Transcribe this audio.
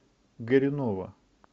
горюнова